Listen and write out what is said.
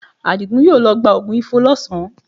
Àdìgún yóò lọ gba oògùn Ifo lọ́sàn-án